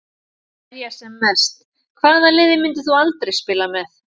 Verja sem mest Hvaða liði myndir þú aldrei spila með?